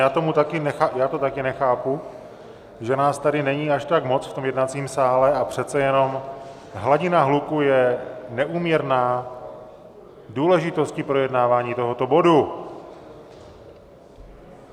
Já to taky nechápu, že nás tady není až tak moc v tom jednacím sále, a přece jenom hladina hluku je neúměrná důležitosti projednávání tohoto bodu.